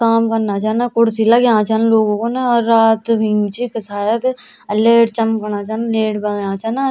काम करना छन कुर्सी लंग्या छन लोगू खूण और रात भी हुई च इख शायद लैट चमकणा छन लैट बल्यां छन।